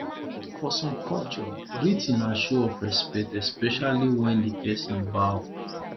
for some culture greeting na show of respect especially when di person bow